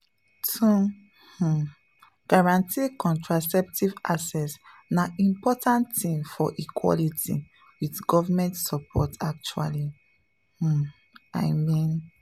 to um guarantee contraceptive access na important thing for equality with government support actually um i mean.